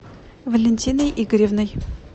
валентиной игоревной